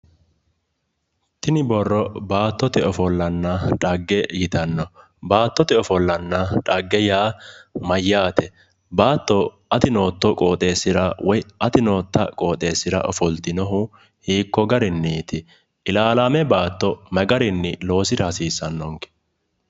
Tini borro baattote ofollanna xagge yitanno. Baattote ofollanna yaa mayyaate? Baatto ati nootto qooxeessira woy ati nootta qooxeessira ofoltinohu hiikkogarinniiti? Ilaalaame baatto magarinni loosira hasiissaannonke?